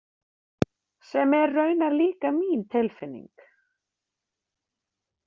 Sem er raunar líka mín tilfinning.